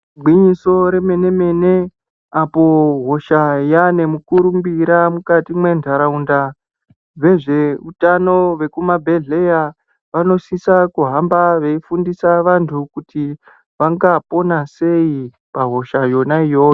Igwinyiso remene-mene apo hosha yaane mukurumbira mukati mentaraunda, vezveutano vekumabhedhlera vanosisa kuhamba veifundisa vantu kuti vangapona sei pahosha yona iyoyo.